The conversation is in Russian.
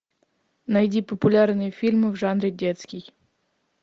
найди популярные фильмы в жанре детский